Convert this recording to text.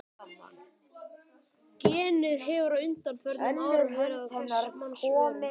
Genið hefur á undanförnum árum verið á hvers manns vörum.